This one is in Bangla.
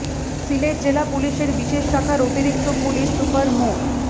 সিলেট জেলা পুলিশের বিশেষ শাখার অতিরিক্ত পুলিশ সুপার মো